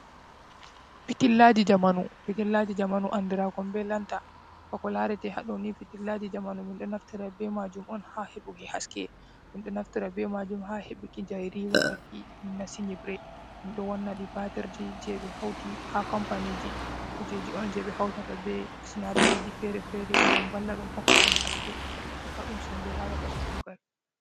Pitrillaaji jamanu, anndiraakon be lanta bako larete haaɗoni ,fitirllaaji jamanu min ɗo naftira be maajum on haa heɓuki haske. Min ɗo naftira be maajum haa heɓuki jayri wakkati min nasti nyiibre. Min ɗo wanna ɗi batirji jey ɓe hawti haa kompaniiji. Kujeji on jey ɓe hawtata be sinaadariiji fere-fere ngam valla ɗum hokka ɗum haske, hokka ɗum semmbe haa wakkati kuugal.